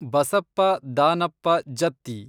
Basappa Danappa Jatti